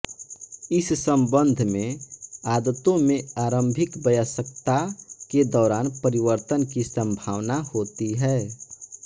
इस संबंध में आदतों में आरंभिक वयस्कता के दौरान परिवर्तन की संभावना होती है